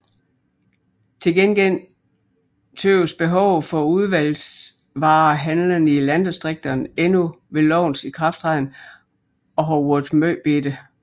Til gengæld synes behovet for udvalgsvarehandlende i landdistrikterne endnu ved lovens ikrafttræden at have været meget lille